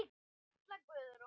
Katla Guðrún.